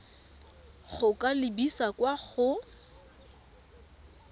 go ka lebisa kwa go